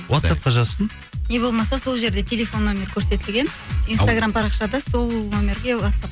уатсапқа жазсын не болмаса сол жерде телефон нөмірі көрсетілген инстаграм парақшада сол нөмерге уатсап